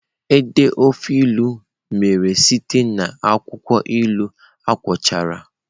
Id ofe ilu mere site na akwụkwọ ilu akwọcha.